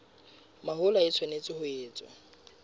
mahola e tshwanetse ho etswa